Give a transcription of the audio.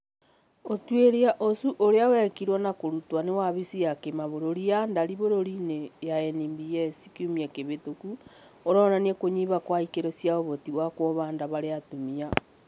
ũtuĩria ũcio ũrĩa wekirwo na kũrutwo nĩ wafisi ya kĩbũrũri ya ndari bũrũri-inĩ ya NBS kiumia kĩhĩtũki ũronania kũnyiha kwa ikĩro cia ũhoti wa kuoha nda harĩ atumia